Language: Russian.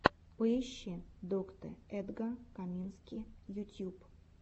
поищи доктэ эдга камински ютьюб